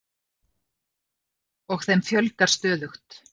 Og þeim fjölgar stöðugt.